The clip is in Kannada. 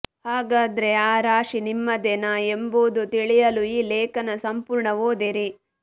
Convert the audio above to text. ಹಾಗಾದ್ರೆ ಆ ರಾಶಿ ನಿಮ್ಮದೇ ನಾ ಎಂಬುದು ತಿಳಿಯಲು ಈ ಲೇಖನ ಸಂಪೂರ್ಣ ಓದಿರಿ